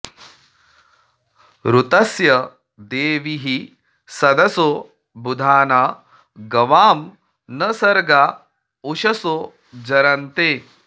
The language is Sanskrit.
ऋतस्य देवीः सदसो बुधाना गवां न सर्गा उषसो जरन्ते